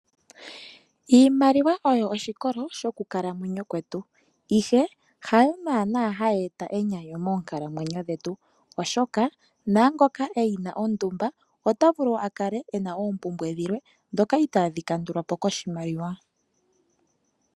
Iimaliwa oyo oshikolo shokukalamwenyo kwetu, ihe hayo naana hayi eta enyanyu monkalamwenyo dhetu oshoka naangoka eyina ondumba ota vulu akale ena oompumbwe dhilwe dhoka itaadhi kandulwa po koshimaliwa